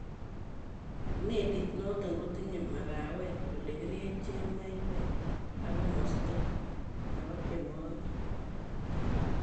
Melit noton kotinye makawet ,ele kiryechen maiwek ak komostab tienwogik.